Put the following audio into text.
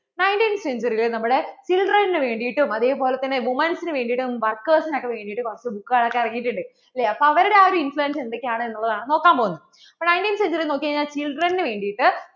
nineteenth century ൽ നമ്മുടെ children വേണ്ടിട്ടും അതേപോലെ തന്നെ women's നു വേണ്ടിട്ടും workers നു വേണ്ടിട്ടും കുറച്ചു book കൾ ഒക്കേ ഇറങ്ങിയിട്ട് ഉണ്ട് അല്ലെ അപ്പോൾ അവരുടെ ആ ഒരു influence എന്തൊക്കെ ആണ് എന്ന് ഉള്ളത് ആണ് നോക്കാൻ പോകുന്നേ